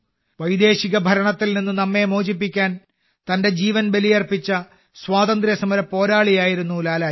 വൈദേശിക ഭരണത്തിൽ നിന്ന് നമ്മെ മോചിപ്പിക്കാൻ തന്റെ ജീവൻ ബലിയർപ്പിച്ച സ്വാതന്ത്ര്യ സമര പോരാളിയായിരുന്നു ലാലാജി